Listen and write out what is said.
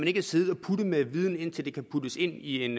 ikke sidde og putte med den viden indtil det kan puttes ind i en